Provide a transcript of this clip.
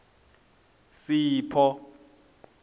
sipho